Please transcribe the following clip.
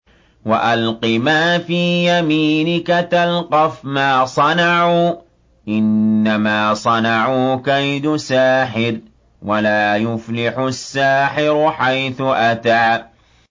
وَأَلْقِ مَا فِي يَمِينِكَ تَلْقَفْ مَا صَنَعُوا ۖ إِنَّمَا صَنَعُوا كَيْدُ سَاحِرٍ ۖ وَلَا يُفْلِحُ السَّاحِرُ حَيْثُ أَتَىٰ